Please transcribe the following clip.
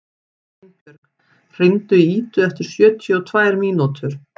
Einbjörg, hringdu í Idu eftir sjötíu og tvær mínútur.